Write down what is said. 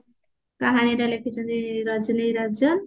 କାହାଣୀ ଟା ଲେଖିଛନ୍ତି ରଜନୀ ରାଜନ